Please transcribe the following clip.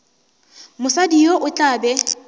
mosadi yo o tla be